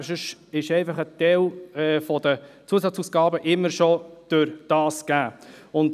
Sonst ist ein Teil der Zusatzausgaben immer schon dadurch gegeben.